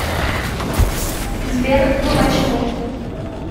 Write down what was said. сбер ну почему